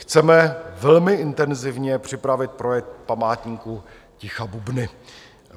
Chceme velmi intenzivně připravit projekt Památníku ticha Bubny.